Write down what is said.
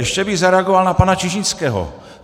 Ještě bych zareagoval na pana Čižinského.